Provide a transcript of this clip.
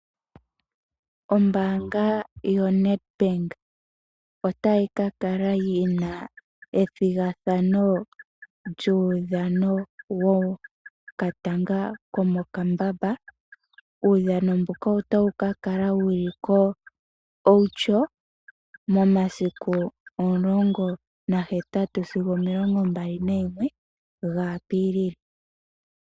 Ombaanga yoNedbank otayi ka kala yi na ethigathano lyuudhano wokatanga komokambamba. Uudhano mbuka otawu ka kala wu li kOutjo momasiku 18 sigo 21 Apilili.